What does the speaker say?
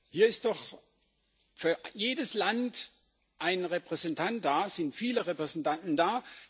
Hier ist doch für jedes Land ein Repräsentant da, es sind viele Repräsentanten da.